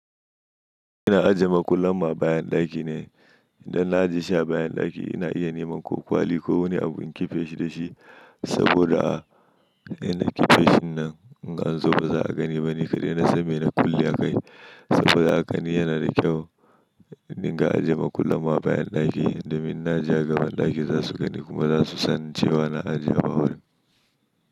Ina ajiye makullan ma bayan ɗaki ne. Idan na ajiye shi a bayan ɗaki ina iya neman ko kwali ko wani abu in kiffe shi da shi saboda a ina kiffe shi nan in an zo ba za a gani ba ni kadai na san mi na kulle a kai saboda hakani yana da kyau. Ni ga ajiye makullan mu a bayan ɗaki domin inna aje gaban ɗaki za su gani kuma za su san cewa na ajiye ba wurin.